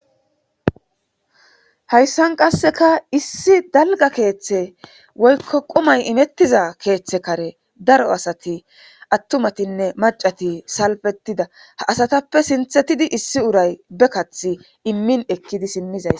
hayssan qasseka issi dalga keeththe woykko qumay imettiza keeththe kare daro asati attumatinne macati salbetida ha asatappe sinthetidi issi uray be kathi immin ekkidi simmizays